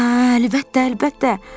Hə, əlbəttə, əlbəttə.